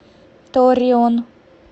торреон